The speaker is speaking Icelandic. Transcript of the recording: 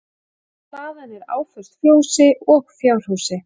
Hlaðan er áföst fjósi og fjárhúsi